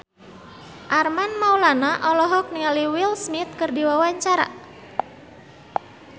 Armand Maulana olohok ningali Will Smith keur diwawancara